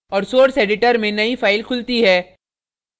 और source editor में नई file खुलती है